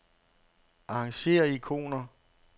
Arrangér ikoner.